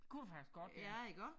Kunne det faktisk godt ja